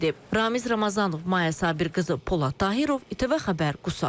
Ramiz Ramazanov, Maya Sabir qızı, Polad Tahirov, ATV Xəbər, Qusar.